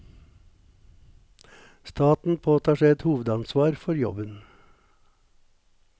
Staten påtar seg et hovedansvar for jobben.